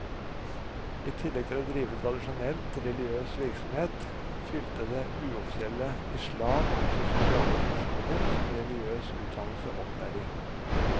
I tillegg til å drive tradisjonell religiøs virksomhet, fylte det uoffisielle islam også sosiale funksjoner som religiøs utdannelse og opplæring.